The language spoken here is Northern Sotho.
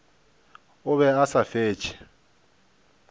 o be a sa fetše